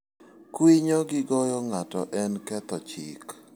Kwinyo gi goyo ng'ato en ketho chik.